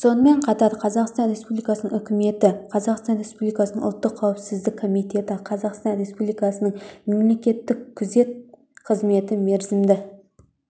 сонымен қатар қазақстан республикасының үкіметі қазақстан республикасының ұлттық қауіпсіздік комитеті қазақстан республикасының мемлекеттік күзет қызметі мерзімді